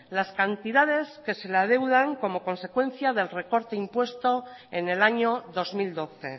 las cantidades que se le adeudan como consecuencia del recorte impuesto en el año dos mil doce